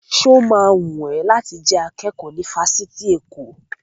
Sọ ma wùn ẹ́ láti jẹ́ akẹ́kọ̀ọ́ ní ifásitì Èkó?